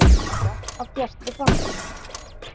Meira af Bjartri framtíð.